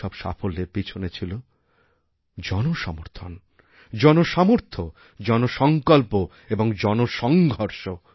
এইসব সাফল্যের পিছনে ছিল জনসমর্থন জনসামর্থ্যজনসঙ্কল্প এবং জনসংঘর্ষ